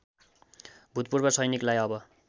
भूतपूर्व सैनिकलाई अब